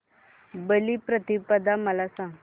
बलिप्रतिपदा मला सांग